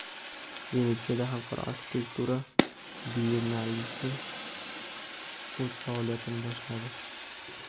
Venetsiyada xalqaro arxitektura biyennalesi o‘z faoliyatini boshladi.